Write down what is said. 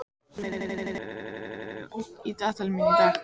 Borgúlfur, hvað er í dagatalinu mínu í dag?